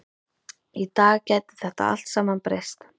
Í dag gæti þetta allt saman breyst.